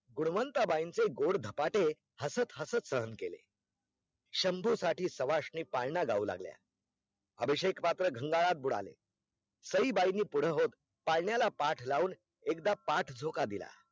गुंणवान्त्ताबाई चे गोड धपाटे हसत हसत सहन केले शंभू साठी शवाशिनी पाळणा गाऊ लागल्या, अभिषेक पात्र गांगारात बुडाले सईबाईनी पूढ होत पालळन्याला पाठ लाऊन एकदा पाठ झोका दिला